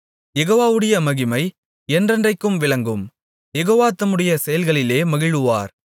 யெகோவாவுடைய மகிமை என்றென்றைக்கும் விளங்கும் யெகோவா தம்முடைய செயல்களிலே மகிழுவார்